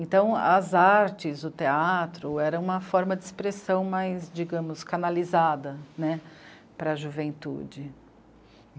Então, as artes, o teatro, eram uma forma de expressão mais, digamos, canalizada, né, para a juventude.